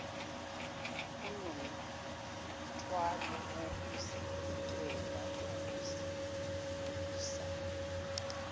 unomthwalo wokuvikela ukuzibusa